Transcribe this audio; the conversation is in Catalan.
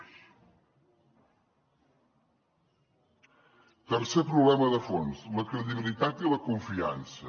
tercer problema de fons la credibilitat i la confiança